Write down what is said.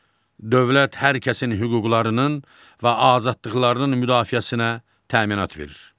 Dövlət hər kəsin hüquqlarının və azadlıqlarının müdafiəsinə təminat verir.